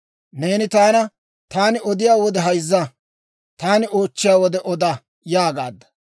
«Neeni taana, ‹Taani odiyaa wode hayzza; taani oochchiyaa wode oda› yaagaadda.